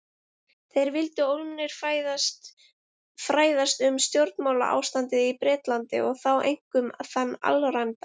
Þeir vildu ólmir fræðast um stjórnmálaástandið í Bretlandi- og þá einkum þann alræmda